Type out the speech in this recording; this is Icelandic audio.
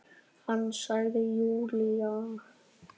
Hann sagði Júlía!